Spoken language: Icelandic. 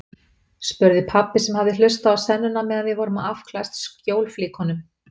spurði pabbi sem hafði hlustað á sennuna meðan við vorum að afklæðast skjólflíkunum.